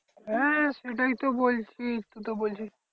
হ্যাঁ সেটাই তো বলছি তুই তো বলছিস